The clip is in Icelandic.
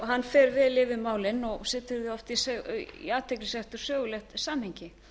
hann fer vel yfir málin og setur þau oft í athyglisvert og sögulegt samhengi